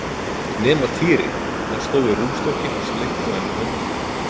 Nema Týri, hann stóð við rúmstokkinn og sleikti á henni höndina.